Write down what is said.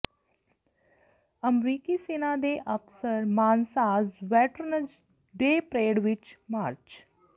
ਅਮਰੀਕੀ ਸੈਨਾ ਦੇ ਅਫਸਰ ਮਾਨਸਾਸ ਵੈਟਰਨਜ਼ ਡੇ ਪਰੇਡ ਵਿਚ ਮਾਰਚ